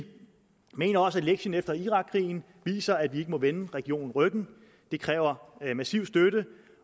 mener også at lektien efter irakkrigen viser at vi ikke må vende regionen ryggen det kræver massiv støtte